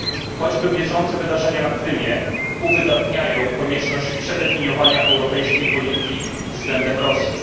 Choćby bieżące wydarzenia na Krymie uwydatniają konieczność ponownego zdefiniowania europejskiej polityki względem Rosji.